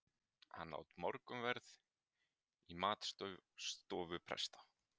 Hann át morgunverð í matstofu presta.